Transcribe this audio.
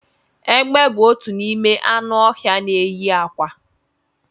Egbe bu otu n'ime anụ ọhịa na enyi akwa